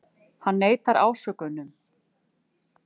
Hann neitar ásökununum